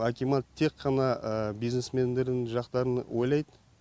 акимат тек қана бизнесмендердің жақтарын ойлайды